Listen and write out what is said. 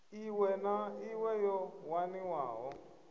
iṋwe na iṋwe yo waniwaho